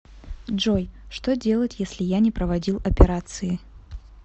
джой что делать если я не проводил операции